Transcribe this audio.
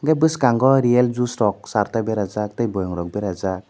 enke bwskango real juice char ta bera jak tei boiem rok berajak.